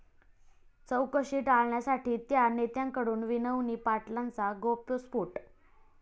चौकशी टाळण्यासाठी 'त्या' नेत्यांकडून विनवणी, पाटलांचा गौप्यस्फोट